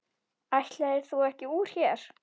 Ætlaðir þú ekki úr hér?